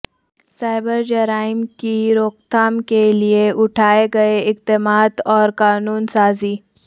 cyber جرائم کی روک تھام کے لیے اٹھائے گئے اقدامات اور قانون سازی